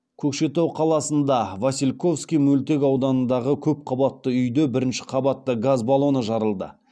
көкшетау қаласында васильковский мөлтек ауданындағы көпқабатты үйде бірінші қабатта газ баллоны жарылды